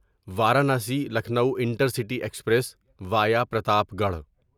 Varanasi Lucknow intercity express via Pratapgarh